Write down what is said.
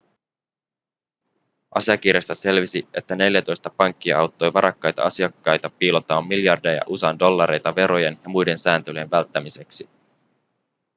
asiakirjoista selvisi että neljätoista pankkia auttoi varakkaita asiakkaita piilottamaan miljardeja usa:n dollareita verojen ja muiden sääntelyjen välttämiseksi